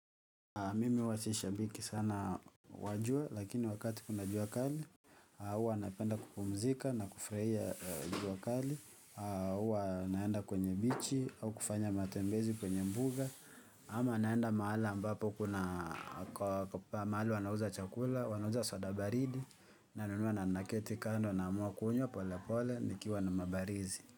Mimi hua si shabiki sana wa jua lakini wakati kuna jua kali hua napenda kupumzika na kufurahia jua kali hua naenda kwenye beach au kufanya matembezi kwenye mbuga ama naenda mahali ambapo kuna kwa maahali wanauza chakula, wanauza soda baridi, nanunua na na keti kando namua kunywa, pole pole, nikiwa nimebarizi.